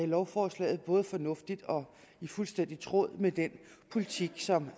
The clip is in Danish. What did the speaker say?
lovforslaget både fornuftigt og fuldstændig i tråd med den politik som